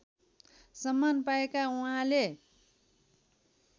सम्मान पाएका उहाँले